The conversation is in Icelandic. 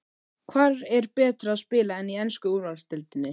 Hvar er betra að spila en í ensku úrvalsdeildinni?